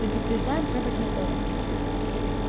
предупреждаем проводников